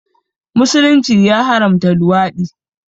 Musulunci ya haramta luwaɗi